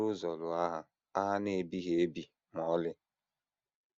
ụzọ lụọ agha, agha na - ebighị ebi ma ọlị